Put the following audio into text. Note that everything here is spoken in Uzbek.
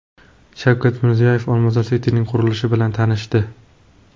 Shavkat Mirziyoyev Olmazor City’ning qurilishi bilan tanishdi.